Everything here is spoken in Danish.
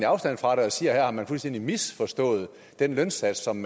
afstand fra den og siger at man fuldstændig har misforstået den lønsats som